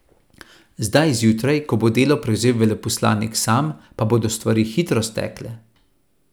Zdaj zjutraj, ko bo delo prevzel veleposlanik sam, pa bodo stvari hitro stekle.